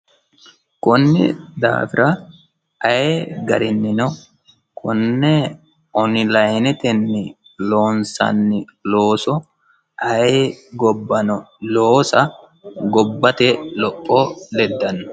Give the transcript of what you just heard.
kunni daafira ayee garinnino konni onlinete loonsanni looso ayee gobbano loosa gobbate lopho leddanno.